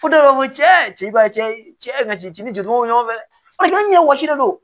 Fo dɔw b'a fɔ ko cɛ ba cɛ cɛ dimi do ɲɔgɔn fɛ dɛ